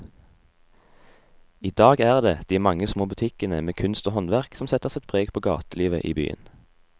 I dag er det de mange små butikkene med kunst og håndverk som setter sitt preg på gatelivet i byen.